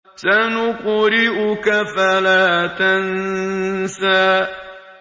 سَنُقْرِئُكَ فَلَا تَنسَىٰ